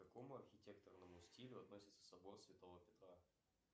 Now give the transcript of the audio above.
к какому архитектору относится собор святого петра